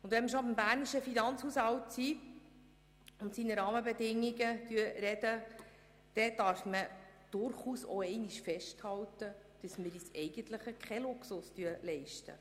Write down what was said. Wenn wir schon beim bernischen Finanzhaushalt sind und über seine Rahmenbedingungen sprechen, darf man durchaus auch einmal festhalten, dass wir uns keinen Luxus leisten.